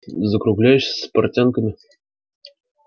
закругляешься с портянками